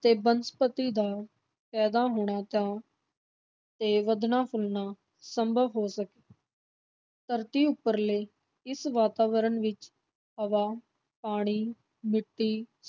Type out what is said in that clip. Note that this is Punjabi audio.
ਤੇ ਬਨਸਪਤੀ ਦਾ ਪੈਦਾ ਹੋਣਾ ਤਾਂ ਤੇ ਵਧਣਾ-ਫੁੱਲਣਾ ਸੰਭਵ ਹੋ ਸਕ ਧਰਤੀ ਉੱਪਰਲੇ ਇਸ ਵਾਤਾਵਰਨ ਵਿਚ ਹਵਾ, ਪਾਣੀ, ਮਿੱਟੀ,